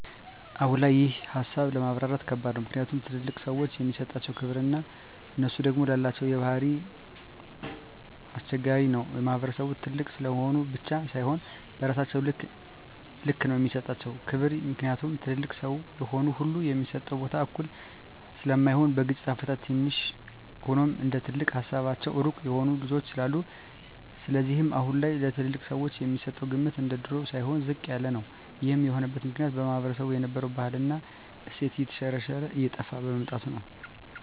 አሁን ላይ ይሄን ሀሳብ ለማብራራት ከባድ ነው ምክኒያቱም ትልልቅ ሰዎችን የሚሠጣቸው ክብር እና እነሡ ደግም የላቸው ባህሪ ኘስቸጋሪ ነው በማህበረሰቡም ትልቅ ስለሆኑ ብቻ ሳይሆ በስራቸው ልክ ነው የሚሰጣቸው ክብር ምክኒያቱም ትልልቅ ሰው የሆነ ሁሉ የሚሰጠው ቦታ እኩል ስለማይሆን በግጭት አፈታትም ትንሽ ሆኖም እንደትልቅ ሀሳባቸው ሩቅ የሆኑ ልጆች ስላሉ ስለዚህም አሁን ላይ ለትልልቅ ሰወች የሚሰጠው ግምት እንደድሮው ሳይሆን ዝቅ ያለ ነው ይሄም የሆነበት ምክኒያት ማህበረሰቡ የነበረው ባህል እና እሴት የተሽረሽረ እና እየጠፍ በመምጣቱ ነው